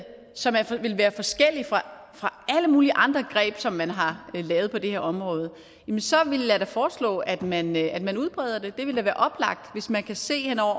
som vil være forskelligt fra alle mulige andre greb som man har lavet på det her område så vil jeg da foreslå at man at man udbreder det det vil da være oplagt hvis man kan se hen over